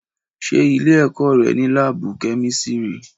Ṣé ilé-ẹ̀kọ́ rẹ ní láábù kémísírì?